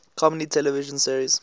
comedy television series